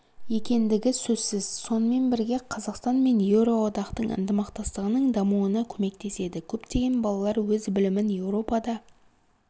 екендігі сөзсіз сонымен бірге қазақстан мен еуроодақтың ынтымақтастығының дамуына көмектеседі көптеген балалар өз білімін еуропада